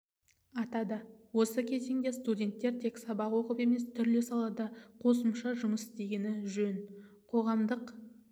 атады осы кезеңде студенттер тек сабақ оқып емес түрлі салада қосымша жұмыс істегені жөн қоғамдық